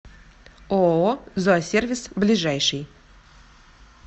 ооо зоосервис ближайший